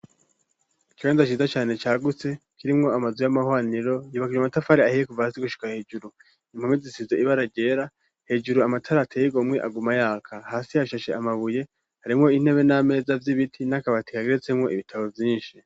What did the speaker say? Ikibanza ciza cane cagutse kirimwo amazu y'amahaniro yubakije amatafari ahiye kuva hazi gushuka hejuru impome zisize ibara ryera hejuru amatara ate y'igomwe aguma yaka hasi yashashe amabuye harimwo intebe n'ameza vy'ibiti nakabati kageretsemwo ibitabo vyinshi